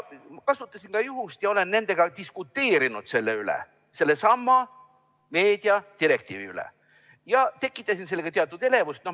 Kasutasin juhust ja diskuteerisin nendega selle üle, sellesama meediadirektiivi üle, ja tekitasin teatud elevust.